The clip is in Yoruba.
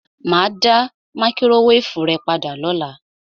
Mà á dá máíkrówévù rẹ padà lọ́la.